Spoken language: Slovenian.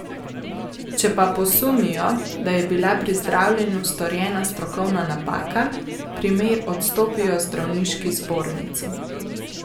Če pa posumijo, da je bila pri zdravljenju storjena strokovna napaka, primer odstopijo zdravniški zbornici.